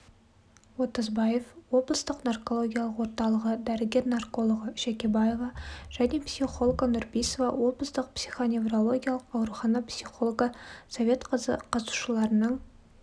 отызбаев облыстық наркологиялық орталығы дәрігер-наркологі жәкебаева және психологі нұрпейісова облыстық психоневрологиялық аурухана психологы советқызы қатысушыларының